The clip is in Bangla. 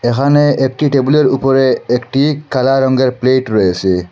এখানে একটি টেবিলের উপরে একটি কালা রংয়ের প্লেট রয়েছে।